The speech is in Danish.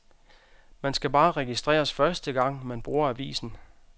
Man skal bare registreres første gang, man bruger avisen.